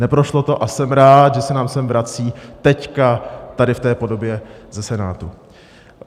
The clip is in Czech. Neprošlo to a jsem rád, že se nám sem vrací teď v tady té podobě ze Senátu.